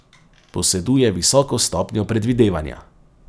Poseduje visoko stopnjo predvidevanja.